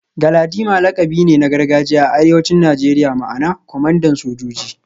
Galadima lakabi ne na gargajiya a arewacin Najeriya ma'ana kwamandan sojoji